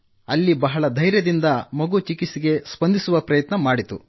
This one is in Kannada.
ಅಲ್ಲಿ ಬಹಳ ಧೈರ್ಯದಿಂದ ಮಗು ಚಿಕಿತ್ಸೆಗೆ ಸ್ಪಂದಿಸುವ ಪ್ರಯತ್ನ ಮಾಡಿತು